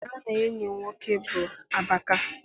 Aha enyi m nwoke bụ Abaka.